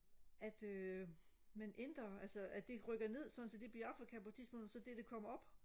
at øh man ændrer altså at det rykker ned sådan så det bliver Afrika på et tidspunkt og så det det kommer op